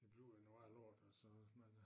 Det bliver jo noget værre lort altså hvis man øh